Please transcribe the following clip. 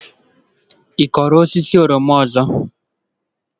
Ị kụrụ osisi oroma ọzọ?